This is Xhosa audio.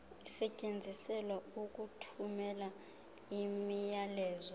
isetyenziselwa ukuthumela imiyalezo